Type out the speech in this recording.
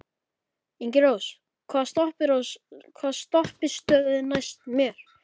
Ingirós, hvaða stoppistöð er næst mér?